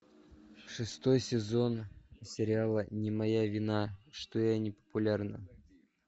шестой сезон сериала не моя вина что я не популярна